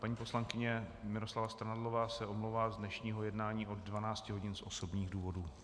Paní poslankyně Miroslava Strnadlová se omlouvá z dnešního jednání od 12 hodin z osobních důvodů.